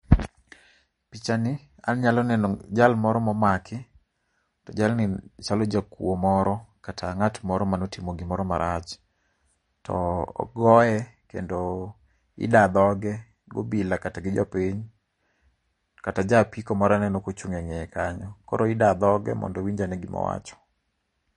Epichani, anyalo neno jal moro ma omaki to jalni chalo jakuo moro, kata ng'at moro mane otimo gimoro marach. To ogoye kendo idaa dhoge gi obila kata gi jopiny. Kata ja apiko moro aneno kochung' eng'eye kanyo. Koro idaa dhoge mondo winj ane gima owacho.